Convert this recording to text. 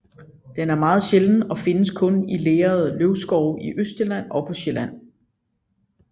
Den er meget sjælden og findes kun i lerede løvskove i Østjylland og på Sjælland